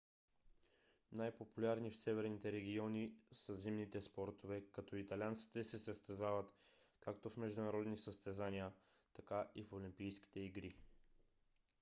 най-популярни в северните региони са зимните спортове като италианците се състезават както в международни състезания така и в олимпийските игри